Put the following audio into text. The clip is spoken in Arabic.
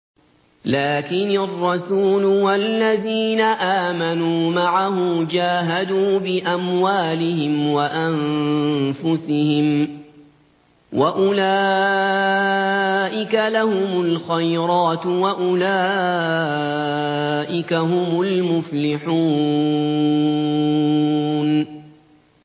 لَٰكِنِ الرَّسُولُ وَالَّذِينَ آمَنُوا مَعَهُ جَاهَدُوا بِأَمْوَالِهِمْ وَأَنفُسِهِمْ ۚ وَأُولَٰئِكَ لَهُمُ الْخَيْرَاتُ ۖ وَأُولَٰئِكَ هُمُ الْمُفْلِحُونَ